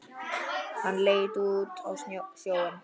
Hann leit út á sjóinn.